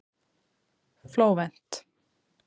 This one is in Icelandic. Flóvent